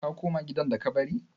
Ka koma gidan da ka bari?